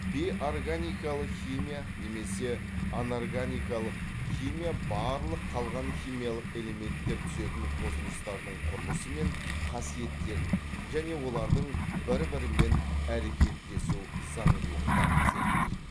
бейорганикалық химия немесе анорганикалық химия барлық қалған химиялық элементтер түзетін қосылыстардың құрылысы мен қасиеттерін және олардың бір бірімен әрекеттесу заңдылықтарын зерттейді